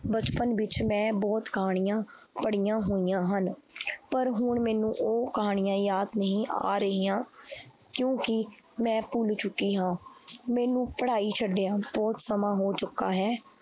ਬਚਪਨ ਵਿੱਚ ਮੈਂ ਬਹੁਤ ਕਹਾਣੀਆਂ ਪੜ੍ਹੀਆਂ ਹੋਈਆਂ ਹਨ ਪਰ ਹੁਣ ਮੈਨੂੰ ਉਹ ਕਹਾਣੀਆਂ ਯਾਦ ਨਹੀਂ ਆ ਰਹੀਆਂ ਕਿਉਂਕਿ ਮੈਂ ਭੁੱਲ ਚੁੱਕੀ ਹਾਂ ਮੈਨੂੰ ਪੜ੍ਹਾਈ ਛੱਡਿਆਂ ਬਹੁਤ ਸਮਾਂ ਹੋ ਚੁੱਕਾ ਹੈ।